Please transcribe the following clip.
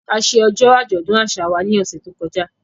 A ṣe ọjọ́ àjọ̀dún àṣà wa ní ọ̀sẹ̀ tó kọjá